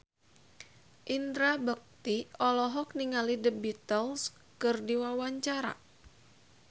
Indra Bekti olohok ningali The Beatles keur diwawancara